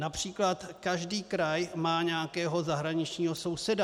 Například každý kraj má nějakého zahraničního souseda.